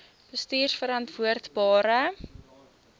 bestuurverantwoordbare